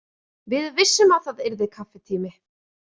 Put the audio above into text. Við vissum að það yrði kaffitími.